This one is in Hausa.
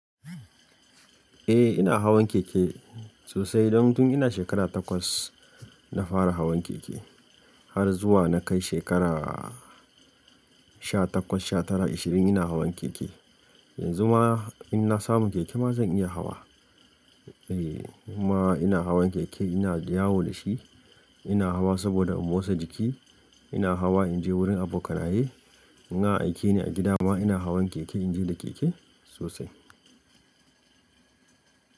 Eh ina hawan keke sosai. Don tun ina shekara takwas na fara hawan keke har zuwa na kai shekara sha takwas, sha tara, ashirin ina hawan keke. Yanzu ma in na samu keke ma zan iya hawa. Eh ma ina hawan keke ina da yawo da shi. Ina hawa saboda in motsa jiki. Ina hawa in je wurin abokanaye. Ina aike ne a gida ma ina hawan keke in je da keke sosai.